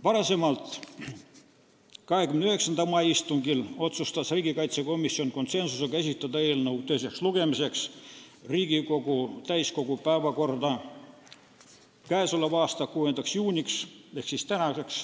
Varem, 29. mai istungil, otsustas riigikaitsekomisjon konsensusega esitada eelnõu teiseks lugemiseks Riigikogu täiskogu päevakorda k.a 6. juuniks ehk tänaseks,